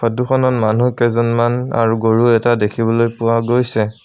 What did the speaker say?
ফটোখনত মানুহকেইজনমান আৰু গৰু এটা দেখিবলৈ পোৱা গৈছে।